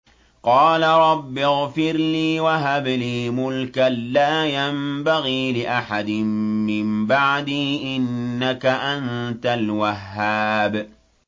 قَالَ رَبِّ اغْفِرْ لِي وَهَبْ لِي مُلْكًا لَّا يَنبَغِي لِأَحَدٍ مِّن بَعْدِي ۖ إِنَّكَ أَنتَ الْوَهَّابُ